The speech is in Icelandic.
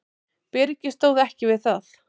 Byrgið stóð ekki við það.